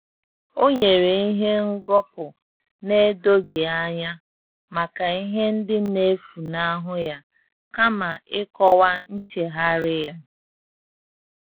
Ọ́ nyèrè ìhè ngọ́pụ́ nà-édóghị́ ányá màkà ìhè ndị́ nà-éfúnáhụ́ yá kámà ị́kọ́wá nchéghárị́ yá.